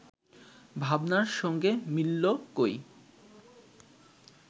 ভাবনার সঙ্গে মিলল কই